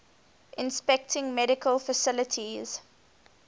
inspecting medical facilities